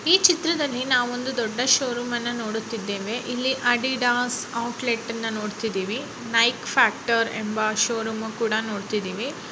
ಈ ಚಿತ್ರದಲ್ಲಿ ನಾವು ಒಂದು ದೊಡ್ಡ ಷೋರೂಮ್ ಅನ್ನು ನೋಡುತ್ತಾ ಇದ್ದೇವೆ ಇಲ್ಲಿ ಆಡಿಡಾಸ್ ಔಟ್ ಲೇಟ್ ಅನ್ನ ನೋಡ್ತಾ ಇದ್ದೇವೆ ನೈಕ್ ಫ್ಯಾಕ್ಟ್ರ್ ಎಂಬ ಷೋರೂಮ್ ಕೂಡ ನೋಡ್ತಾ ಇದ್ದೀವಿ.